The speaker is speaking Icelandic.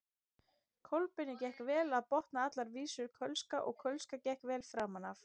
Kolbeini gekk vel að botna allar vísur kölska og kölska gekk vel framan af.